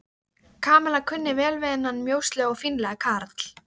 Kamilla kunni vel við þennan mjóslegna og fínlega karl.